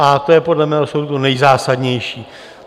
A to je podle mého soudu nejzásadnější.